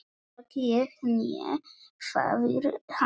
Hvorki ég né faðir hans.